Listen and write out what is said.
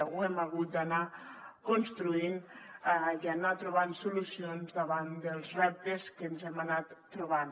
ho hem hagut d’anar construint i anar trobant solucions davant dels reptes que ens hem anat trobant